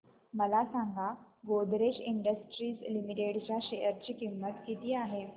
मला सांगा Godrej industries limited च्या शेअर ची किंमत किती आहे